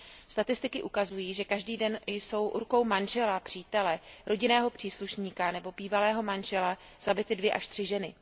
Statistiky ukazují, že každý den jsou rukou manžela, přítele, rodinného příslušníka nebo bývalého manžela zabity dvě až tři ženy.